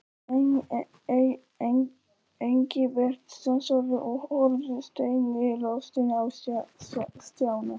Engilbert stansaði og horfði steinilostinn á Stjána.